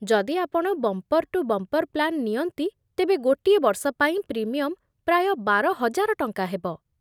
ଯଦି ଆପଣ bumper to bumper plan ନିଅନ୍ତି, ତେବେ ଗୋଟିଏ ବର୍ଷ ପାଇଁ ପ୍ରିମିୟମ୍ ପ୍ରାୟ ବାର ହଜାର ଟଙ୍କା ହେବ।